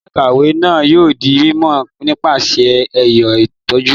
Gbọngan ikọwe náà yóò di mímọ nípasẹ ẹyọ itọju